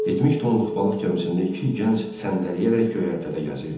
70 tonluq balıq gəmisində iki gənc səndələyərək göyərtədə gəzirdi.